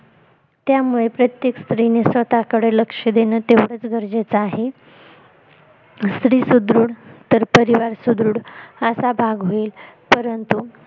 त्यामुळे प्रत्येक स्त्रीने स्वतः कडे लक्ष देणे तेवढच गरजेच आहे स्त्री सुदृढ तर परिवार सुदृढ असा भाग होईल परंतु